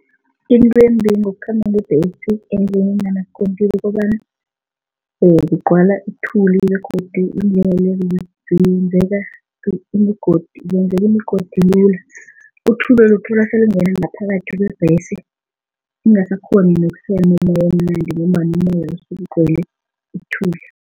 Into embi ngokukhamba ngebhesi endleleni enganaskontiri ukobana, kugcwala ithuli begodu iindlela lezi imigodi zenzeka imigodi lula uthuleli uthola selingena ngaphakathi kwebhesi ungasakghoni umoya emnandi ngombana umoya sewugcwele ithuli.